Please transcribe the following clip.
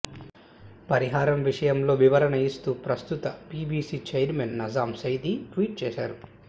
పరిహారం విషయంలో వివరణ ఇస్తూ ప్రస్తుత PBC chairman Najam Sethi tweet చేశారు